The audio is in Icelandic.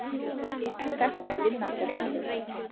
Þetta er vinnandi maður!